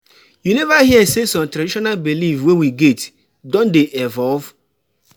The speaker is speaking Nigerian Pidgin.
You neva hear sey some traditional beliefs wey we get don dey evolve?